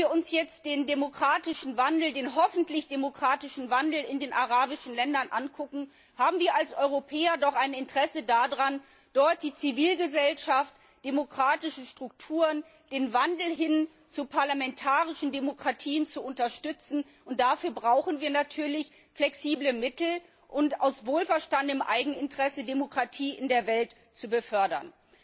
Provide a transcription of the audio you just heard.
Wenn wir uns den hoffentlich demokratischen Wandel in den arabischen Ländern ansehen, haben wir als Europäer doch ein Interesse daran, dort die Zivilgesellschaft, demokratische Strukturen, den Wandel hin zu parlamentarischen Demokratien zu unterstützen und dafür brauchen wir flexible Mittel, um aus wohlverstandenem Eigeninteresse Demokratie in der Welt zu fördern.